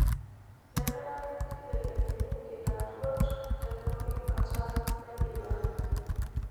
Kenare neibelekenyi nkitaruot te pooki kata naidimayu.